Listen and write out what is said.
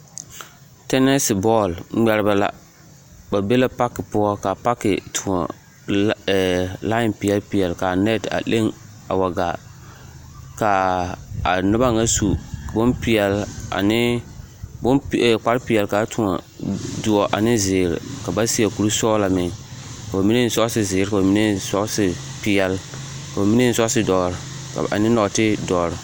Tɛnɛɛse bɔɔl ŋmɛrebɛ la ba be la pake poɔ kaa pake toɔ laen peɛlpeɛl kaa nɛt a leŋ a wa gaa kaa a noba ŋa su bom peɛl ane bom peɛl kparrepeɛl ane doɔ ane zeere ka ba seɛ koresɔglɔ meŋ ka ba mine sɔɔse zeere ka ba mine sɔɔse peɛl ka ba mine eŋ sɔɔse dɔre ane nɔɔte dɔre.